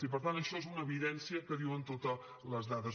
i per tant això és una evidència que diuen totes les dades